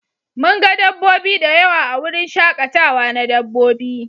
Mun ga dabbobi da yawa a wurin shakatawa na dabbobi.